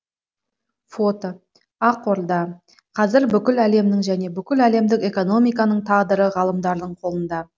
фото ақорда қазір бүкіл әлемнің және бүкіл әлемдік экономиканың тағдыры ғалымдардың қолында